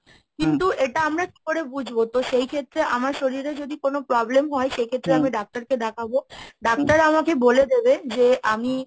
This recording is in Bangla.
কিন্তু এটা আমরা কি করে বুঝবো? তো সেই ক্ষেত্রে আমার শরীরে যদি কোন problem হয় সেক্ষেত্রে আমি doctor কে দেখাবো, doctorআমাকে বলে দেবে যে আমি!